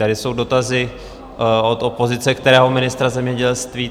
Tady jsou dotazy od opozice, kterého ministra zemědělství?